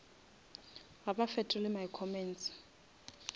ga ba fetole my comments